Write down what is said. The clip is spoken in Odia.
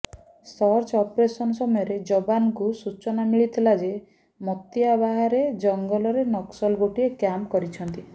ସର୍ଚ ଅପରେସନ ସମୟରେ ଯବାନଙ୍କୁ ସୂଚନା ମିଳିଥିଲା ଯେ ମତିଆବାହାର ଜଂଗଲରେ ନକ୍ସଲ ଗୋଟିଏ କ୍ୟାମ୍ପ କରିଛନ୍ତି